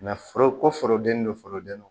foroko forodenin don foroden na